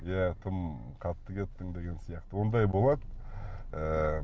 иә тым қатты кеттің деген сияқты ондай болады ыыы